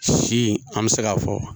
Si an bɛ se k'a fɔ